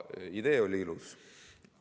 Idee oli ilus.